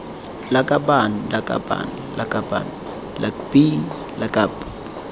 lakabaaan lakabaaan lakaban lakbi lakab